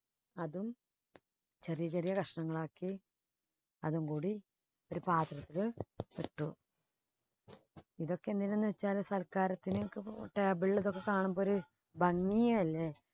അതും ചെറിയ ചെറിയ കഷണങ്ങളാക്കി അതും കൂടി ഒരു പാത്രത്തില് ഇട്ടു ഇതൊക്കെ എന്തിനെന്ന് വെച്ചാൽ സൽക്കാരത്തിന് table ിലൊക്കെ കാണുമ്പോഴ് ഒരു ഭംഗിയല്ലേ.